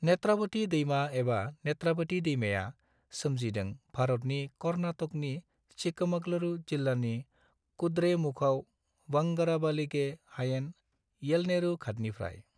नेत्रावती दैमा एबा नेत्रावती दैमाया सोमजिदों भारतनि कर्नाटकनि चिक्कमगलुरु जिल्लानि कुद्रेमुखआव बंगराबालिगे हायेन, येलनेरू घाटनिफ्राय।